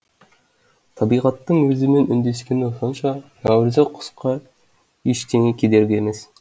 табиғаттың өзімен үндескені сонша нәуірзек құсқа ештеңе кедергі емес